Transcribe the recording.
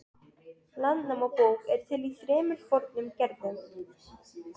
Landnámabók er til í þremur fornum gerðum.